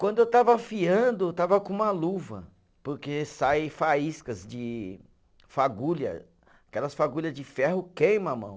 Quando eu estava afiando, eu estava com uma luva, porque saem faíscas de fagulha, aquelas fagulha de ferro queima a mão.